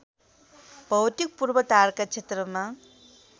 भौतिक पूर्वधारका क्षेत्रमा